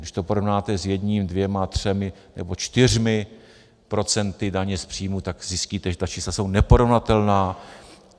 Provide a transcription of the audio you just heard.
Když to porovnáte s jedním, dvěma, třemi nebo čtyřmi procenty daně z příjmu, tak zjistíte, že ta čísla jsou neporovnatelná.